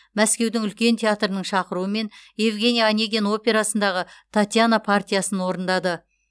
мәскеудің үлкен театрының шақыруымен евгений онегин операсындағы татьяна партиясын орындады